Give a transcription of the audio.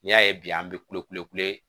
N'i y'a ye bi an bɛ kulekule kule